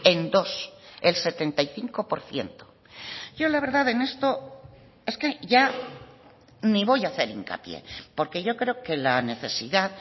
en dos el setenta y cinco por ciento yo la verdad en esto es que ya ni voy a hacer hincapié porque yo creo que la necesidad